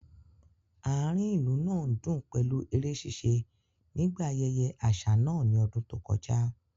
Àárín ìlú náà ń dùn pẹ̀lú eré ṣíṣe nígbà ayẹyẹ àṣà náà ní ọdún tó kọjá